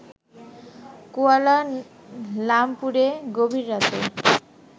koala লামপুরে গভীর রাতে